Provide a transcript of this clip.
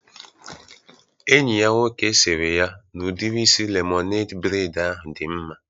Enyi ya nwoke sịrị ya n'udiri isi lemonede breid ahụ dị mma